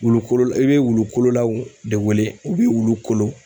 Wulu kolonlaw i be wulu kolonlaw de wele u be wulu kolon